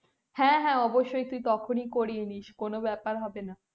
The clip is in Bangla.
হ্যাঁ হ্যাঁ অবশ্যই তখনি করিয়ে নিশ কোনো ব্যাপার হবেনা